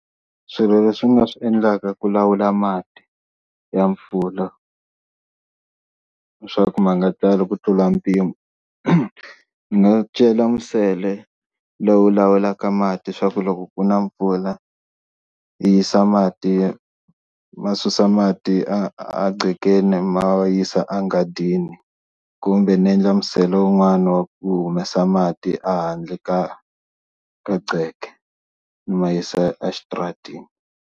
Swilo leswi nga swi endlaka ku lawula mati ya mpfula leswaku ma nga tali ku tlula mpimo ni nga cela nsele lowu lawulaka mati swa ku loko ku na mpfula yi yisa mati ma susa mati a a qhekeni ma yisa a nghadini kumbe ni endla musele un'wana wa ku humesa mati a handle ka ka qheke ni ma yisa exitarateni.